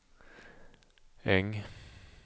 Äng